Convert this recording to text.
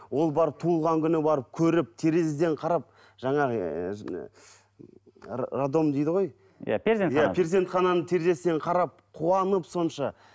ол барып туылған күні барып көріп терезеден қарап жаңағы ыыы роддом дейді ғой иә перзентхана иә перзентхананың терезесінен қарап қуанып сонша